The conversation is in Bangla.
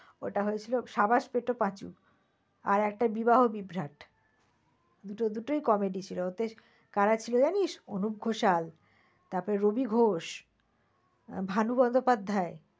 ওটা হয়েছিল সাবাস পেটো পাঁচু আর একটা বিবাহ বিভ্রাট । দুটোই comedy ছিল। ওতে কারা ছিল জানিস্? অনুপ ঘোষাল তারপরে রবি ঘোষ, ভানু বন্দোপাধ্যায়